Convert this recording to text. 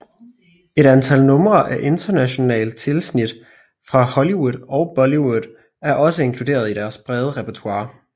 Et antal numre af internationalt tilsnit fra Hollywood og Bollywood er også inkluderet i deres brede repertoire